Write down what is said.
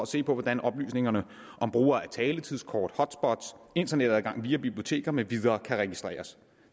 se på hvordan oplysningerne om brug af taletidskort hotspots internetadgang via biblioteker med videre kan registreres